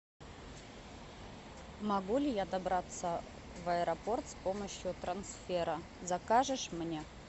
могу ли я добраться в аэропорт с помощью трансфера закажешь мне